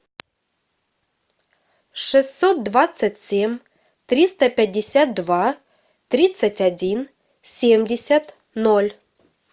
шестьсот двадцать семь триста пятьдесят два тридцать один семьдесят ноль